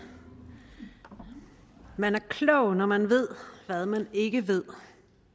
man er klog når man ved hvad man ikke ved